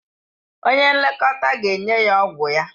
Onye nlekọta ga-enye ya ọgwụ ya.